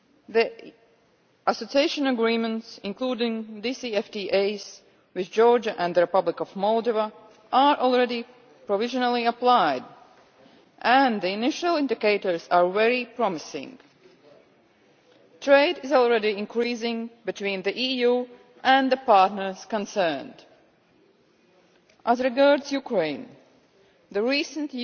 The Association Agreements, including DCFTAs, with Georgia and the Republic of Moldova are already provisionally applied and the initial indications are very promising. Trade is already increasing between the EU and the partners concerned. As regards Ukraine, the recent